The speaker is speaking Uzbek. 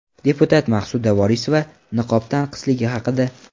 Deputat Maqsuda Vorisova niqob tanqisligi haqida.